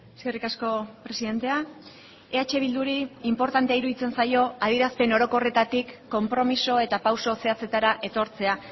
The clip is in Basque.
eskerrik asko presidentea eh bilduri inportantea iruditzen zaio adierazpen orokorretatik konpromiso eta pauso zehatzetara etortzea